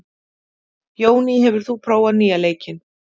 Jóný, hefur þú prófað nýja leikinn?